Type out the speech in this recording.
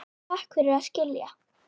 Takk fyrir að skilja.